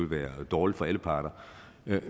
være dårligt for alle parter